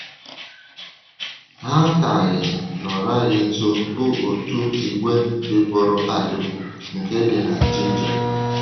Ha kacha nọrò anyị nso bụ otu ìgwè dịpùrụ adịpụ nke dị na Jinja.